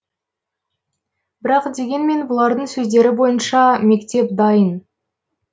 бірақ дегенмен бұлардың сөздері бойынша мектеп дайын